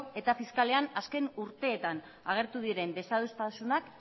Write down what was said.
eta fiskalean azken urteetan agertu diren desadostasunak